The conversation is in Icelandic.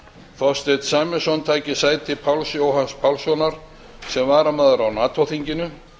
þorsteinn sæmundsson taki sæti páls jóhanns pálssonar sem varamaður á nato þinginu